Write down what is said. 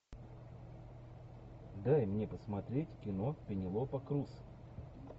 дай мне посмотреть кино пенелопа крус